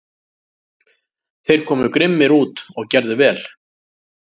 Þeir komu grimmir út og gerðu vel.